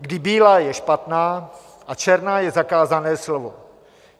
Kdy bílá je špatná a černá je zakázané slovo.